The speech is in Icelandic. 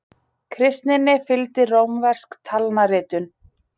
Kristninni fylgdi rómversk talnaritun.